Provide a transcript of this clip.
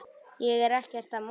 Ég er ekkert að monta.